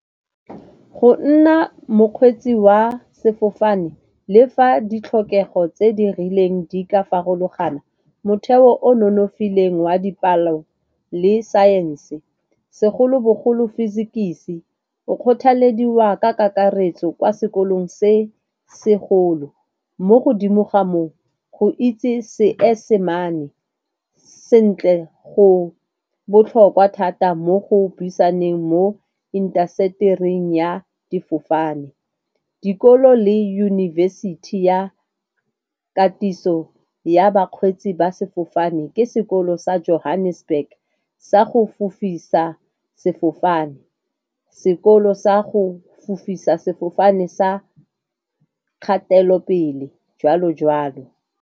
Go nna mokgweetsi wa sefofane le fa ditlhokego tse di rileng di ka farologana motheo o nonofileng wa dipalo le saense, segolobogolo Physics-i, o kgothalediwa ka kakaretso kwa sekolong se segolo. Mo godimo ga moo go itse Seesemane sentle go botlhokwa thata mo go buisaneng mo intasetering ya difofane. Dikolo le university ya katiso ya bakgweetsi ba sefofane ke sekolo sa Johannesburg sa go fofisa sefofane, sekolo sa go fofisa sefofane sa kgatelopele, joalo joalo.